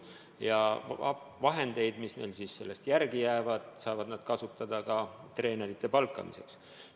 Ja vahendeid, mis neil sellest järele jäävad, saavad nad kasutada ka treenerite palkamiseks.